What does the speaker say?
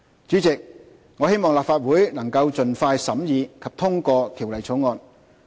主席，我希望立法會能盡快審議及通過《條例草案》。